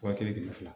Wa kelen ni fila